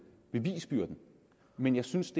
bevisbyrden men jeg synes